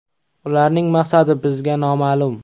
Ularning maqsadi bizga noma’lum.